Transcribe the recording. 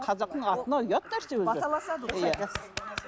қазақтың атына ұят нәрсе өзі баталасады ғой